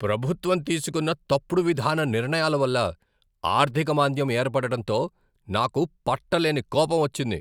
ప్రభుత్వం తీసుకున్న తప్పుడు విధాన నిర్ణయాల వల్ల ఆర్ధిక మాంద్యం ఏర్పడటంతో నాకు పట్టలేని కోపం వచ్చింది.